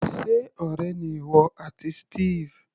Sé ọ̀rẹ́ ni ìwọ àti Steve?